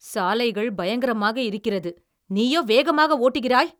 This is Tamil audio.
சாலைகள் பங்கரமாக இருக்கிறது, நீயோ வேகமாக ஓட்டுகிறாய்!